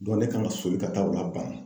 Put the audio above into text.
ne kan ka soli ka taa o la ban